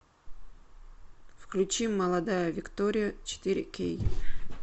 включи молодая виктория четыре кей